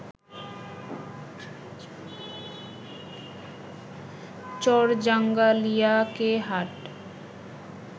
চরজাঙ্গালিয়া কে হাট